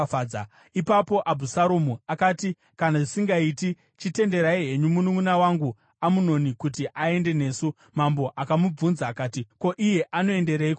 Ipapo Abhusaromu akati, “Kana zvisingaiti, chitenderai henyu mununʼuna wangu Amunoni kuti aende nesu.” Mambo akamubvunza akati, “Ko, iye anoendereiko nemi?”